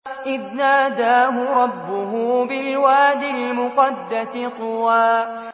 إِذْ نَادَاهُ رَبُّهُ بِالْوَادِ الْمُقَدَّسِ طُوًى